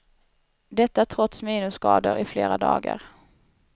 Detta trots minusgrader i flera dagar.